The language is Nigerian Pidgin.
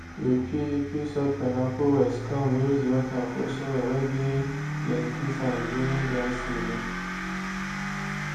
you fit fit soak pineapple waste come use the water for soil whey get plenty sand during dry season